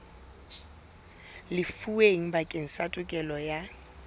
lefuweng bakeng sa tokelo ya